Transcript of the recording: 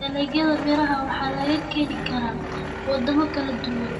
Dalagyada miraha waxaa laga keeni karaa waddamo kala duwan.